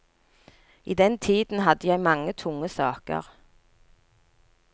I den tiden hadde jeg mange tunge saker.